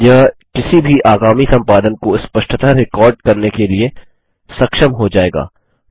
यह किसी भी आगामी संपादन को स्पष्टतः रिकार्ड करने के लिए सक्षम हो जाएगा